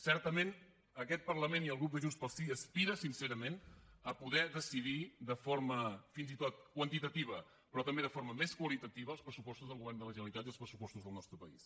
certament aquest parlament i el grup de junts pel sí aspira sincerament a poder decidir de forma fins i tot quantitativa però també de forma més qualitativa els pressupostos del govern de la generalitat i els pressupostos del nostre país